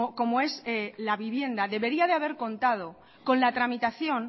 como es la vivienda debería de haber contado con la tramitación